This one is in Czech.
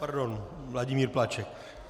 - Pardon, Vladimír Plaček.